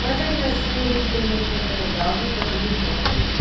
Mas, ainda assim, a gente teve uma infância legal, que é coisa de irmão mesmo.